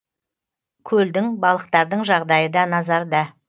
көлдің балықтардың жағдайы да назарда